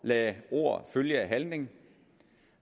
lade ord følge af handling